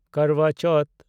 Karwa Chauth